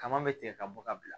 Kama bɛ tigɛ ka bɔ ka bila